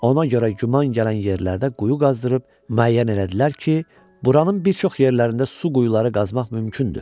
Ona görə güman gələn yerlərdə quyu qazdırıb müəyyən elədilər ki, buranın bir çox yerlərində su quyuları qazmaq mümkündür.